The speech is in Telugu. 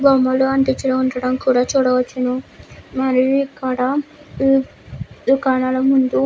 బొమ్మలు అంటించడం కూడా ఇక్కడ చూడవచ్చును. మరియు ఇక్కడ కొన్ని దుకాణాల ముందు--